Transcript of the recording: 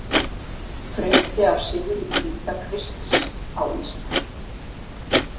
Frétti af sigri Hvítakrists á Íslandi.